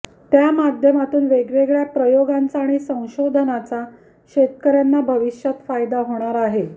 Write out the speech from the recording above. त्या माध्यमातून वेगवेगळ्या प्रयोगांचा आणि संशोधनाचा शेतकऱ्यांना भविष्यात फायदा होणार आहे